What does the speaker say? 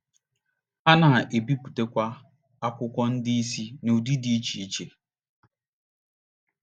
Ha na - ebipụtakwa akwụkwọ ndị ìsì n’ụdị dị iche iche.